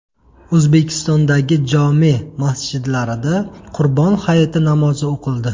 O‘zbekistondagi jome’ masjidlarida Qurbon hayiti namozi o‘qildi .